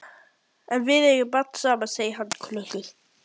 En við eigum barn saman, segir hann klökkur.